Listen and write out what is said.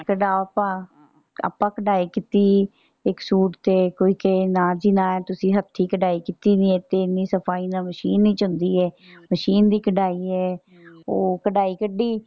ਆਪਾਂ ਕਢਾਈ ਕੀਤੀ ਹੀ ਇਕ ਸੂਟ ਤੇ ਕੋਈ ਕਹੇ ਨਾ ਜੀ ਨਾ ਤੁਸੀਂ ਹੱਥੀ ਕਢਾਈ ਕੀਤੀ ਨਹੀਂ ਇਥੇ ਇੰਨੀ ਸਫਾਈ ਨਾਲ machine ਨਹੀਂ ਚਲਦੀ ਏ machine ਦੀ ਕਢਾਈ ਏ ਉਹ ਕਢਾਈ ਕੱਢੀ।